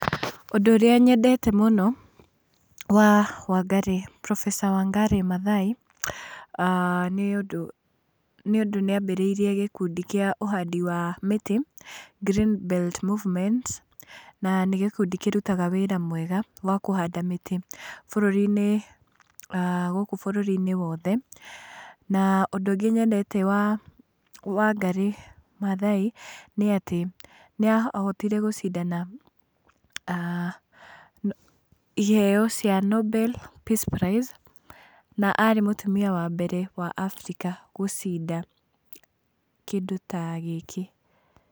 Ũndũ ũrĩa nyendete muno wa Wangari, professor Wangari Maathai, nĩ ũndũ nĩambĩrĩirie gĩkundi kĩa ũhandi wa mĩtĩ, Green Belt Movement, na nĩ gĩkundi kĩrutaga wĩra mwega wa kũhanda mĩtĩ bũrũri-inĩ, gũkũ bũrũri-inĩ wothe. Na ũndũ ũngĩ nyendete wa Wangarĩ Maathai nĩatĩ, nĩahotire gũcindana iheo cia Nobel Peace Prize, na arĩ mũtumia wa mbere wa Afrika gũcida kĩndũ ta gĩkĩ.